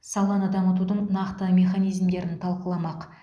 саланы дамытудың нақты механизмдерін талқыламақ